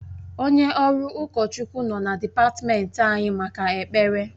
Onye ọrụ ụkọchukwu nọ na dịpatmenti anyị maka ekpere